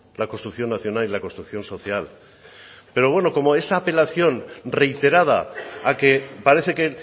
la construcción nacional y la construcción social pero bueno como esa apelación reiterada a que parece que